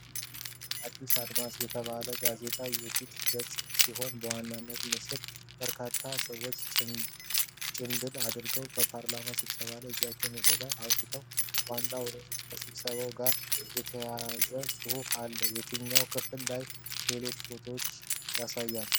"አዲስ አድማስ" የተባለው ጋዜጣ የፊት ገጽ ሲሆን በዋናው ምስል በርካታ ሰዎች ጭምብል አድርገው በፓርላማ ስብሰባ ላይ እጃቸውን ወደ ላይ አውጥተዋል። ዋናው ርዕስ ከስብሰባው ጋር የተያያዘ ጽሑፍ አለው። የታችኛው ክፍል ሌላ ፎቶና ማስታወቂያዎችን ያሳያል።